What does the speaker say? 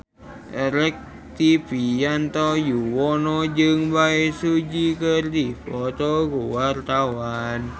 Rektivianto Yoewono jeung Bae Su Ji keur dipoto ku wartawan